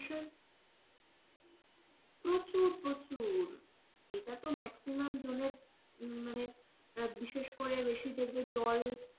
প্রচুর প্রচুর এটা তো maximum জনের, মানে বিশেষ করে বেশি দেখবে জল,